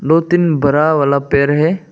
दो तीन बरा वाला पेर है।